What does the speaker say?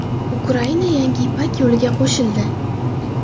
Ukraina yangi Ipak yo‘liga qo‘shildi.